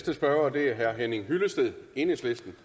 enhedslisten